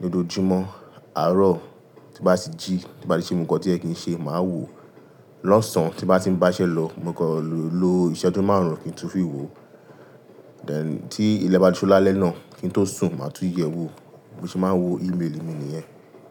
lójoojúmọ́. Àárọ̀ tí n bá ti jí, tí bá ti ṣe gbogbo ǹkan tó yẹ kí n ṣe máa wò ó. Lọ́sàn tí n bá ti ń bá iṣẹ́ lọ, mo kan le lo ìṣẹ́jú márùn-ún kí n tun fi wò ó. Then tí ilẹ̀ bá ti ṣú lálẹ́ náà kí n tó sùn màá tún yẹ̀ ẹ́ wò. Mo ṣe máa ń wo email mi nìyẹn.